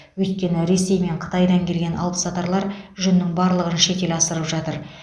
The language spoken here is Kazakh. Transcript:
өйткені ресей мен қытайдан келген алыпсатарлар жүннің барлығын шетел асырып жатыр